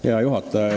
Hea juhataja!